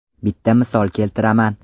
Bitta misol keltiraman.